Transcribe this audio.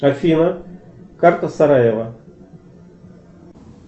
афина карта сараева